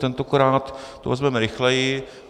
Tentokrát to vezmeme rychleji.